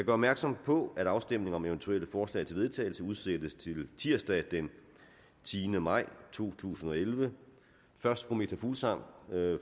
opmærksom på at afstemning om eventuelle forslag til vedtagelse udsættes til tirsdag den tiende maj to tusind og elleve først fru meta fuglsang